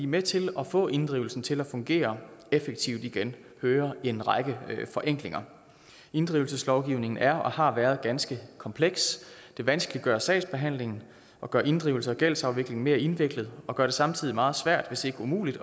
med til at få inddrivelsen til at fungere effektivt igen hører en række forenklinger inddrivelseslovgivningen er og har været ganske kompleks det vanskeliggør sagsbehandlingen og gør inddrivelsen og gældsafviklingen mere indviklet og gør det samtidig meget svært hvis ikke umuligt